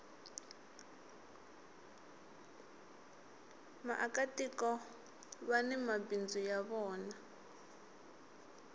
vaaka tiko vani mabindzu ya vona